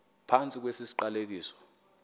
phantsi kwesi siqalekiso